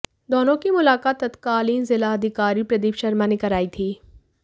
दोनों की मुलाकात तत्कालीन जिलाधिकारी प्रदीप शर्मा ने कराई थी